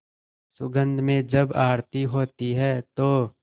सुगंध में जब आरती होती है तो